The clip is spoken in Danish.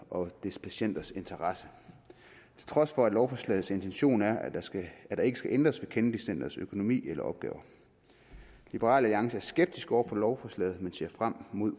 og dets patienters interesse til trods for at lovforslagets intention er at der ikke skal ændres ved kennedy centrets økonomi eller opgaver liberal alliance er skeptiske over for lovforslaget men ser frem